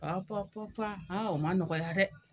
Pɔpɔ pɔpa o man nɔgɔya dɛ.